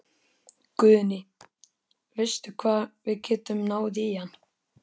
Guðný: Veistu hvar við getum náð í hann?